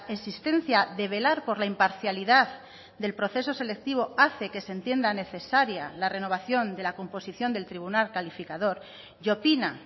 existencia de velar por la imparcialidad del proceso selectivo hace que se entienda necesaria la renovación de la composición del tribunal calificador y opina